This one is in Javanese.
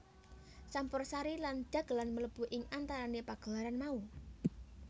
Campursari lan dhagelan mlebu ing antarané pagelaran mau